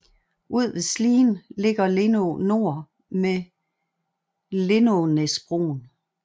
Ud ved Slien ligger Lindå Nor med Lindånæsbroen